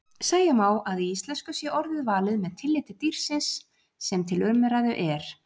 Segja má að í íslensku sé orðið valið með tilliti dýrsins sem til umræðu er.